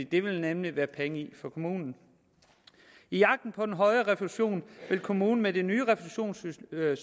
det vil der nemlig være penge i for kommunen i jagten på den høje refusion vil kommunen med det nye refusionssystem